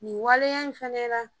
Nin waleya in fana la.